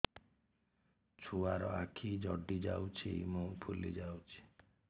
ଛୁଆର ଆଖି ଜଡ଼ି ଯାଉଛି ମୁହଁ ଫୁଲି ଯାଇଛି